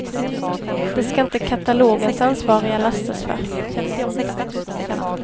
Det ska inte katalogens ansvariga lastas för.